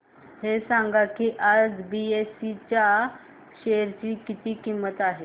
हे सांगा की आज बीएसई च्या शेअर ची किंमत किती आहे